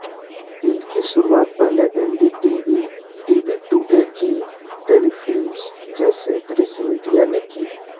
इनकी शुरुआत पहले NDTV TV Today Zee Telefilms जैसे दृश्यमीडिया ने की